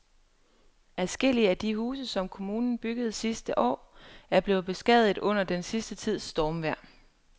Adskillige af de huse, som kommunen byggede sidste år, er blevet beskadiget under den sidste tids stormvejr.